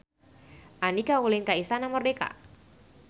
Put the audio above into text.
Andika ulin ka Istana Merdeka